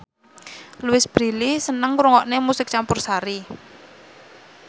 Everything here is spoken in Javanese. Louise Brealey seneng ngrungokne musik campursari